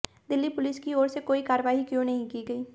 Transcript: Delhi police की ओर से कोई कार्रवाई क्यों नहीं की गयी